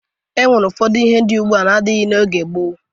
O nwere ihe dị ugbua n'adịghị n'oge gboo.